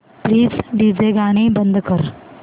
please DJ गाणी बंद कर